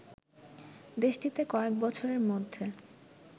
দেশটিতে কয়েক বছরের মধ্যে